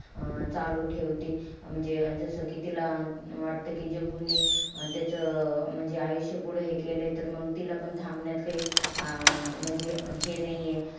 अं चालू ठेवती. म्हणजे जस कि तिला वाटतं कि जग्गूने त्याचं म्हणजे आयुष्य पुढं हे केलयं. तर म तिलापण थांबण्यात काई अं म्हणजे हे नाहीये.